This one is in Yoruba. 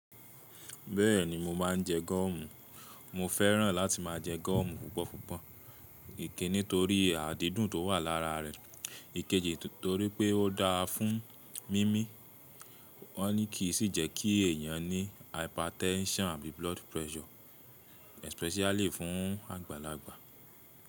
Bẹ́ẹ̀ni mo máa ń jẹ gúọ̀mù. Mo fẹ́ràn láti máa jẹ gúọ̀mù púpọ̀ púpọ̀. Ìkinní, torí́ adídùn tó wà lára rẹ̀, ikejì torí pé ó dáa fún mímí. Ọ́ ní kí i sì jẹ́ kí èyàn ní hypertension àbí blood pressure especially fún àgbàlagbà.